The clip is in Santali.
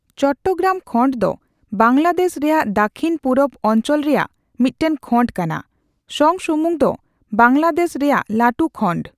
ᱪᱚᱴᱴᱚᱜᱨᱟᱢ ᱠᱷᱚᱸᱰ ᱫᱚ ᱵᱟᱝᱞᱟᱫᱮᱥ ᱨᱮᱭᱟᱜ ᱫᱟᱹᱠᱷᱤᱱᱼᱯᱩᱨᱩᱵᱽ ᱚᱱᱪᱚᱞ ᱨᱮᱭᱟᱜ ᱢᱤᱫᱴᱟᱝ ᱠᱷᱚᱸᱰ ᱠᱟᱱᱟ᱾ ᱥᱚᱝᱥᱩᱢᱩᱝ ᱫᱚ ᱵᱟᱝᱞᱟᱫᱮᱥ ᱨᱮᱭᱟᱜ ᱞᱟᱹᱴᱩ ᱠᱷᱚᱸᱰ᱾